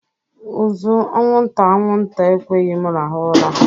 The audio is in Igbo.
Uzu anwụnta anwụnta ekweghị m rahụ ura